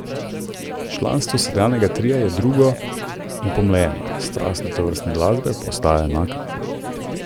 Članstvo sedanjega tria je drugo in pomlajeno, strast do tovrstne glasbe pa enaka.